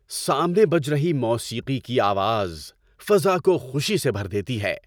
سامنے بج رہی موسیقی کی آواز فضا کو خوشی سے بھر دیتی ہے۔